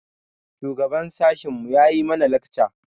Shugaban sashin mu yayi mana lakca.